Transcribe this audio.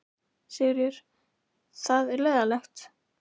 Sigríður: Það er leiðinlegt?